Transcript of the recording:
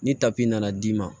Ni tapi nana d'i ma